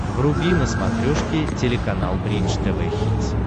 вруби на смотрешке телеканал бридж тв хитс